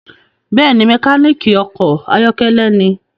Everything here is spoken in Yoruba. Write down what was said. Bẹẹni, mekaniki ọkọ ayọkẹlẹ ní